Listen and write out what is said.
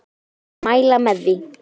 Ég myndi mæla með því.